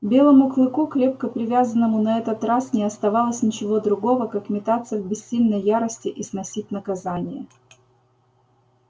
белому клыку крепко привязанному на этот раз не оставалось ничего другого как метаться в бессильной ярости и сносить наказание